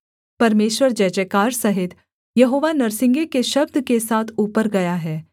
परमेश्वर जयजयकार सहित यहोवा नरसिंगे के शब्द के साथ ऊपर गया है